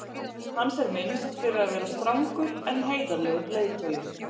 hans er minnst fyrir að vera strangur en heiðarlegur leiðtogi